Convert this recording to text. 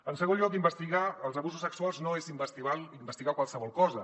en segon lloc investigar els abusos sexuals no és investigar qualsevol cosa